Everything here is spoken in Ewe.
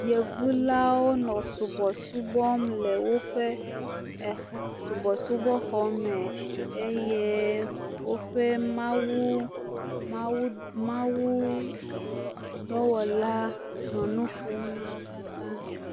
Yevu lawo nɔ subɔsubɔ wɔm le woƒe exɔ subɔsubɔxɔ me eye woƒe mawudɔwɔla nɔ nu ƒom na wo katã.